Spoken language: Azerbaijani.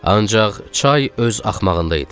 Ancaq çay öz axmağında idi.